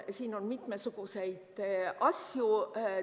Siin on mitmesuguseid asju.